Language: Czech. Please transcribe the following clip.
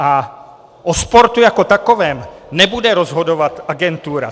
A o sportu jako takovém nebude rozhodovat agentura.